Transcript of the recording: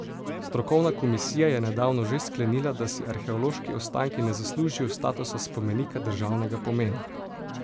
Strokovna komisija je nedavno že sklenila, da si arheološki ostanki ne zaslužijo statusa spomenika državnega pomena.